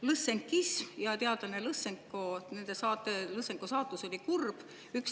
Lõssenkismi ja teadlase Lõssenko saatus oli kurb.